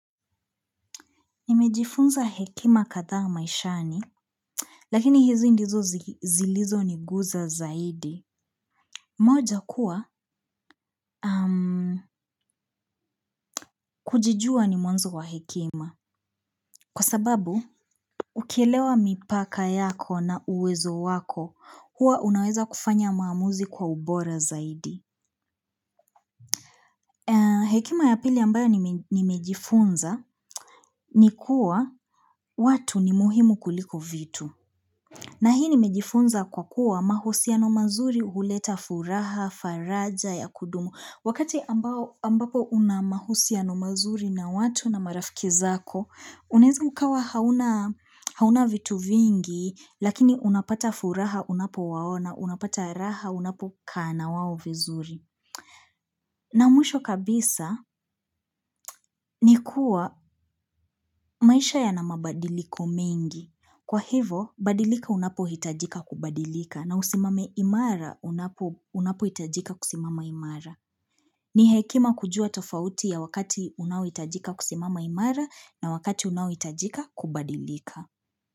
Nimejifunza hekima kadhaa maishani, lakini hizi ndizo zilizoniguza zaidi. Moja kuwa, kujijua ni mwanzo wa hekima. Kwa sababu, ukielewa mipaka yako na uwezo wako, huwa unaweza kufanya maamuzi kwa ubora zaidi. Hekima ya pili ambayo nimejifunza, ni kuwa watu ni muhimu kuliko vitu. Na hii nimejifunza kwa kuwa mahusiano mazuri huleta furaha, faraja ya kudumu. Wakati ambapo una mahusiano mazuri na watu na marafiki zako, unaeza ukawa hauna vitu vingi, lakini unapata furaha unapo waona, unapata raha unapokaa na wao vizuri. Na mwisho kabisa ni kuwa maisha yana mabadiliko mingi. Kwa hivo, badilika unapohitajika kubadilika na usimame imara unapohitajika kusimama imara. Ni hekima kujua tofauti ya wakati unaohitajika kusimama imara na wakati unaohitajika kubadilika.